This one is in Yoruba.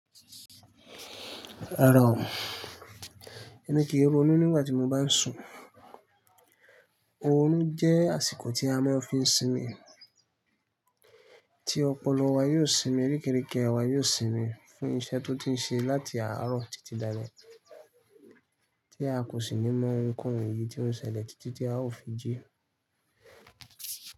Rara ọ̀, ẹmi kì í ronú nígbà tí mo bá ń sùn. Orun jẹ́ àsìkò tí a máa ń fi sinmi, tí ọpọlọ wa yóò sinmi, kéreké wa yóò sinmi fún iṣẹ́ tó ti ń ṣe láti àárọ̀ títí da ale, tí a kò sì le mọ oun nǹkan èyí tí ó ń ṣẹlẹ̀ títí tí a ó fi jí.